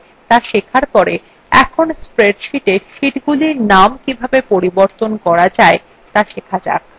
calc থেকে কিভাবে sheets মুছে ফেলতে হয় তা শেখার পর এখন spreadsheetএর শীটগুলির নাম কিভাবে পরিবর্তন করা যায় তা শেখা যাক